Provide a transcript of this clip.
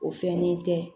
O fɛnnen tɛ